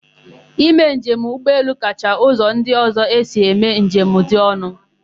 Ime njem ụgbọelu kacha ụzọ ndị ọ̀zọ́ esi eme njem dị ọnụ.